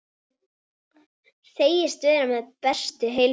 Segist vera við bestu heilsu.